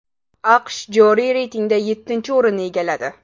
AQSh joriy reytingda yettinchi o‘rinni egalladi.